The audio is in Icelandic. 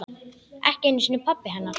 Ekki einu sinni pabbi hennar.